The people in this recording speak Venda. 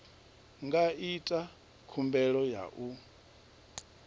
nga ita khumbelo ya u